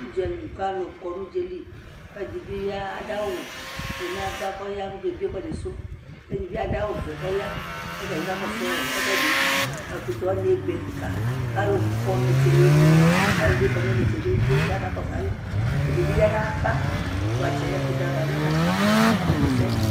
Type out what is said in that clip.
ʋdzali kʋ alʋ kɔnʋ ʋdzaɛli kʋ ɛdibi dʋ awʋ tʋnʋ aɣa kʋ ɔya kɔ ɔkɛ biɛ ɛsɛdi sʋ, ɛdibi adʋ awʋ vɛ kʋ ɔya kʋ ɔtabi kakɔsʋɔ ɛkʋɛdi, ɛkʋtɛ wani ɛbɛ kikaa kʋ alʋ kɔ nʋ inɛtsɛ nʋ ɛmɛ alʋɛdini bi kɔnʋ itɛtsɛ ɛdibi kʋ akakɔsʋ alɛ, ɛdibi yanʋ aɣa ʋvatsɛ, ɛkʋtɛ aɣa nʋ ʋvatsɛ kʋ ɔka kɔsʋ ɛsɛ